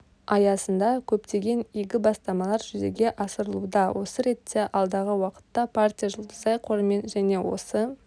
аясында көптеген игі бастамалар жүзеге асырылуда осы ретте алдағы уақытта партия жұлдызай қорымен және осы